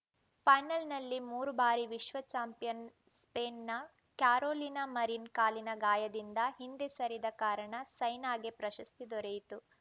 ಪಾನಲ್‌ನಲ್ಲಿ ಮೂರು ಬಾರಿ ವಿಶ್ವ ಚಾಂಪಿಯನ್‌ ಸ್ಪೇನ್‌ನ ಕ್ಯಾರೋಲಿನಾ ಮರಿನ್‌ ಕಾಲಿನ ಗಾಯದಿಂದ ಹಿಂದೆ ಸರಿದ ಕಾರಣ ಸೈನಾಗೆ ಪ್ರಶಸ್ತಿ ದೊರೆಯಿತು